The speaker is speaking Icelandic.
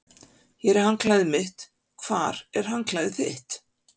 Hér er handklæðið mitt. Hvar er handklæðið þitt?